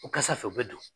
O kasa fɛ u bɛ don